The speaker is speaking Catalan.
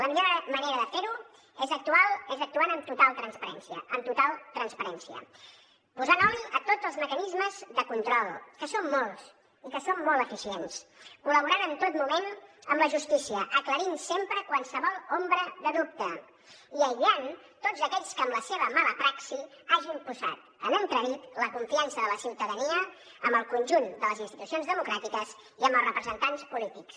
la millor manera de ferho és actuant amb total transparència amb total transparència posant oli a tots els mecanismes de control que són molts i que són molt eficients col·laborant en tot moment amb la justícia aclarint sempre qualsevol ombra de dubte i aïllant tots aquells que amb la seva mala praxi hagin posat en entredit la confiança de la ciutadania en el conjunt de les institucions democràtiques i en els representants polítics